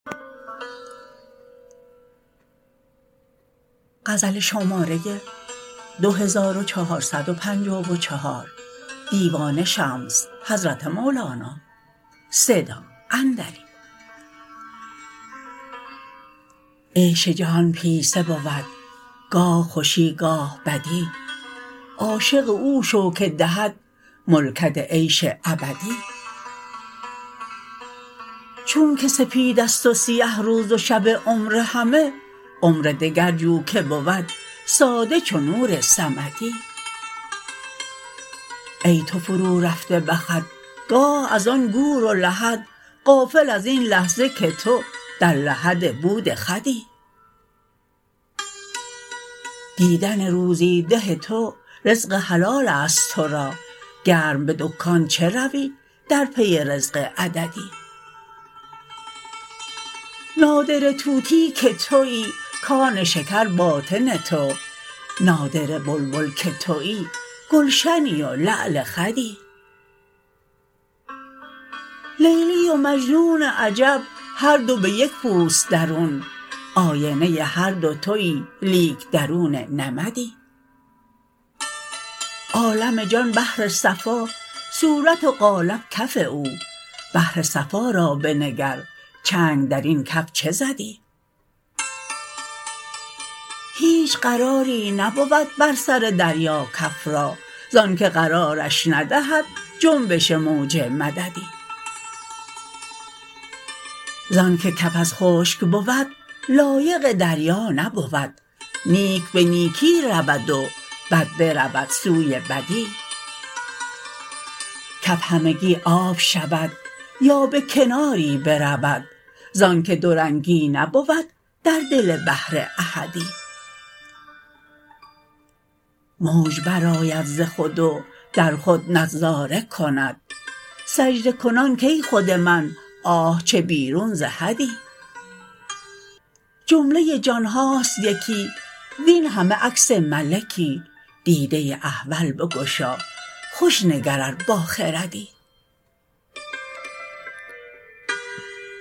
عیش جهان پیسه بود گاه خوشی گاه بدی عاشق او شو که دهد ملکت عیش ابدی چونک سپید است و سیه روز و شب عمر همه عمر دگر جو که بود ساده چو نور صمدی ای تو فرورفته به خود گاه از آن گور و لحد غافل از این لحظه که تو در لحد بود خودی دیدن روزی ده تو رزق حلال است تو را گرم به دکان چه روی در پی رزق عددی نادره طوطی که توی کان شکر باطن تو نادره بلبل که توی گلشنی و لعل خدی لیلی و مجنون عجب هر دو به یک پوست درون آینه هر دو توی لیک درون نمدی عالم جان بحر صفا صورت و قالب کف او بحر صفا را بنگر چنگ در این کف چه زدی هیچ قراری نبود بر سر دریا کف را ز آنک قرارش ندهد جنبش موج مددی ز آنک کف از خشک بود لایق دریا نبود نیک به نیکی رود و بد برود سوی بدی کف همگی آب شود یا به کناری برود ز آنک دورنگی نبود در دل بحر احدی موج برآید ز خود و در خود نظاره کند سجده کنان کای خود من آه چه بیرون ز حدی جمله جان هاست یکی وین همه عکس ملکی دیده احول بگشا خوش نگر ار باخردی